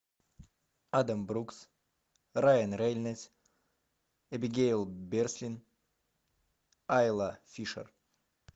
адам брукс райан рейнольдс эбигейл бреслин айла фишер